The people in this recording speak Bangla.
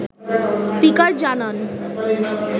স্পিকার জানান